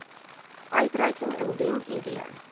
uitreiking indien id